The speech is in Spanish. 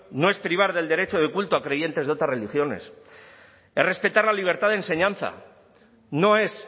no es privar del derecho de culto a creyentes de otras religiones es respetar la libertad de enseñanza no es